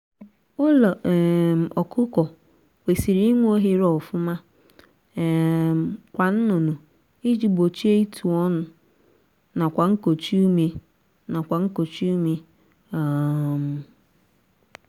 ụlọ um ọkụkọ kwesịrị inwe ohere ofuma um kwa nnụnụ iji gbochie ịtụ ọnụ nakwa nkochi ume nakwa nkochi ume um